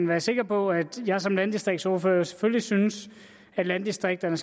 være sikker på at jeg som landdistriktsordfører selvfølgelig synes at landdistrikterne